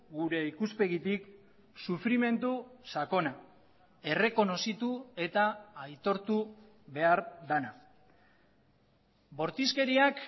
gure ikuspegitik sufrimendu sakona errekonozitu eta aitortu behar dena bortizkeriak